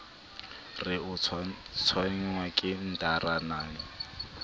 re o tshwenngwa ke ntaramane